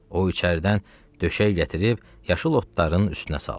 O içəridən döşək gətirib yaşıl otların üstünə saldı.